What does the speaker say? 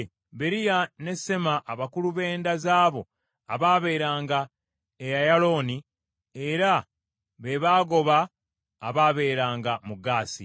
Beriya, ne Sema abakulu b’enda z’abo abaabeeranga e Ayalooni, era be baagoba abaabeeranga mu Gaasi.